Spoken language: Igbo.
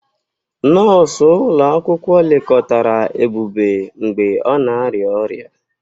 Nọọsụ ụlọ akwụkwọ lekọtara Ebube mgbe ọ na-arịa ọrịa.